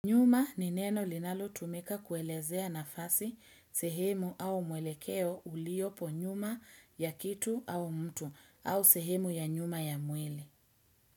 Nyuma ni neno linalo tumika kuelezea nafasi sehemu au mwelekeo uliopo nyuma ya kitu au mtu au sehemu ya nyuma ya mwili.